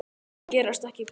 Þær gerast ekki betri.